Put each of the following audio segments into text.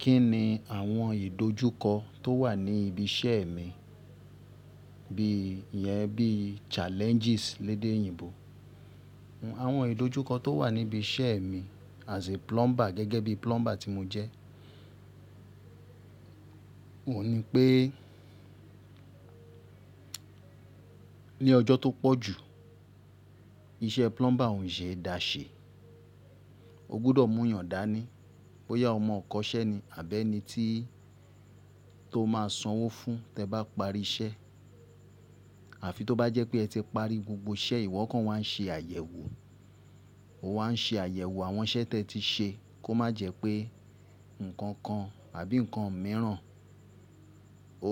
Kí ni àwọn ìdojúkọ tó wà ní ibi iṣẹ́ mi bií ìyẹn bíi challenges lédè òyìnbó. Àwọn ìdojúkọ tó wà níbi iṣẹ́ mi as a plumber gẹ́gẹ́ bí plumber tí mo jẹ́, òun ni pé ní ọjọ́ tó pọ̀jù iṣẹ́ plumber ò ń ṣe é daṣẹ́. O gbọdọ̀ múuyàn dání bóyá ọmọ ìkọṣẹ́ ni àbí ẹni tí tóo máa sanwó fún ẹ tẹ́ẹ bá parí iṣẹ́. Àfi tó bá jẹ́ pé ẹ ti parí gbogbo iṣẹ́, ìwọ kan wà ń ṣe àyẹ̀wò. O wà ń ṣe àyẹ̀wò àwọn iṣẹ́ tí ẹ ti ṣe kó má jẹ́ pé nǹkan kan àbí nǹkan mìíràn o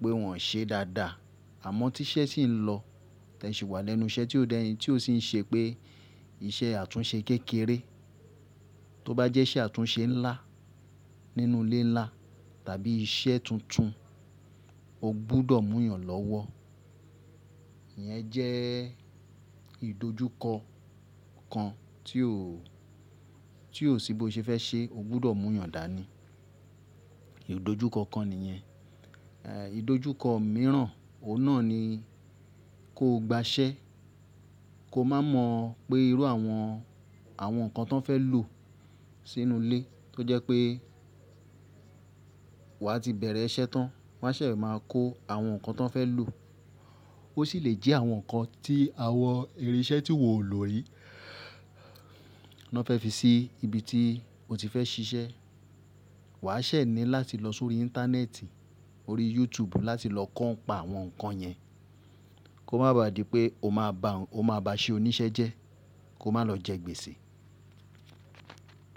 pé wọ́n ṣe dáadáa. Àmọ́ tí iṣẹ́ sì ń lọ, tí ẹ sì wà lẹ́nu iṣẹ́ tí o dẹ́yin tí o sì ń ṣe pé iṣẹ́ àtúnṣe kékeré. Tó bá jẹ́ iṣẹ́ àtúnṣe ńlá nínú ilé ńlá tàbí iṣẹ́ tuntun o gbọdọ̀ múuyàn lọ́wọ́. Ìyẹn jẹ́ ìdojúkọ kan tí o, ti o sì bóo ṣe fẹ́ ṣe o gbọdọ̀ múuyàn dání. Ìdojúkọ kan nìyẹn. Ìdojúkọ mìíràn, òun náà ni kóo gba iṣẹ́, kóo má mọ̀ pé irú àwọn àwọn nǹkan tọ́n fẹ́ lò sínú ilé. Tó jẹ́ pé wàá ti bẹ̀rẹ̀ iṣẹ́ tán, wọ́n a ṣẹ̀e máa kó àwọn nǹkan tọ́n fẹ́ lò. Ó sì lè jẹ́ àwọn nǹkan tí àwọn irin iṣẹ́ tíwọ̀ o lo rí nọ́n fẹ́ fi sí ibi tí o ti fẹ́ ṣiṣẹ́. Wà á ṣẹ̀ ní láti lọ sórí íńtánẹ́ẹ̀tì orí YouTube láti lọ kọ́ ǹpa àwọn nǹkan yẹn. Kó má bá di pé o máa bá n ó máa bá ìṣe oníṣẹ́ jẹ́, kóo má lọ jẹ́ gbèsè.